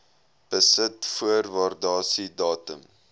besit voor waardasiedatum